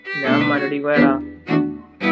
ഞാൻ ഉമ്മനോടിക്ക് പോയടാ